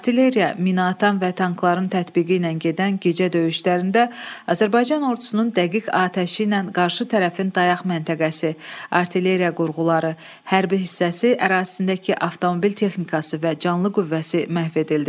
Artilleriya, minaatan və tankların tətbiqi ilə gedən gecə döyüşlərində Azərbaycan ordusunun dəqiq atəşi ilə qarşı tərəfin dayaq məntəqəsi, artilleriya qurğuları, hərbi hissəsi ərazisindəki avtomobil texnikası və canlı qüvvəsi məhv edildi.